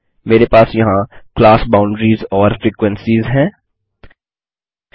मेरे पास यहाँ क्लास बाउंडरीज वर्ग सीमाएँ और फ्रीक्वेंसीज फ्रिक्वेंसिस हैं